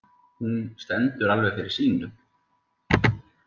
Hún stendur alveg fyrir sínu.